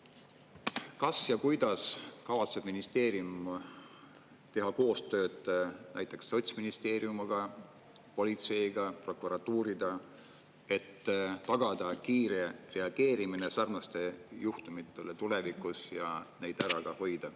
Kas ja kuidas kavatseb ministeerium teha koostööd näiteks sotsministeeriumi, aga ka politseiga, prokuratuuriga, et tagada kiire reageerimine sarnastele juhtumitele tulevikus ja neid ära hoida?